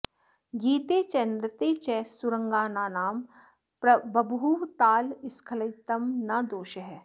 गीते च नृत्ते च सुराङ्गनानां बभूव तालस्खलितं न दोषः